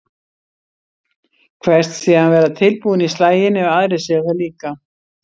Kveðst síðan vera tilbúinn í slaginn ef aðrir séu það líka.